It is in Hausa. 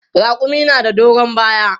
Raƙumi na da doron baya.